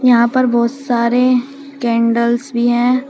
यहां पर बहुत सारे कैंडल्स भी हैं।